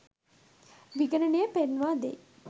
විගණනය පෙන්වා දෙයි